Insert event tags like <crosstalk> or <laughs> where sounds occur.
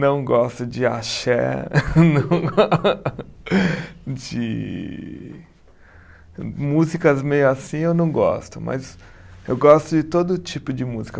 Não gosto de axé, <laughs> de músicas meio assim eu não gosto, mas eu gosto de todo tipo de música.